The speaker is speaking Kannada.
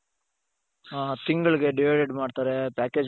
ಹ ತಿಂಗಳಿಗೆ divided ಮಾಡ್ತಾರೆ package,